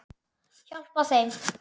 Hjálpa þeim.